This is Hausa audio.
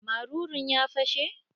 Marurun ya fashe?